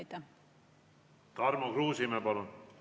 Tarmo Kruusimäe, palun!